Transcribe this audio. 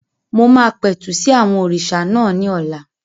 Mo máa pẹ̀tù sí àwọn òrìṣà náà ní ọ̀la